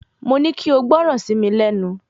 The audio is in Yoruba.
Mo ní kí ó gbọ́ran sí mi lẹ́nu